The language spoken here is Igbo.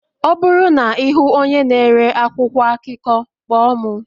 Ọ bụrụ na ị hụ onye na-ere akwụkwọ akụkọ, kpọọ m